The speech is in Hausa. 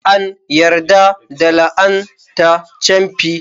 An yarda da la'ana ta camfi.